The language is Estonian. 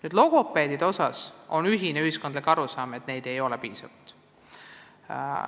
Mis puutub logopeedidesse, siis ühiskonnas valitseb arusaam, et neid ei ole piisavalt.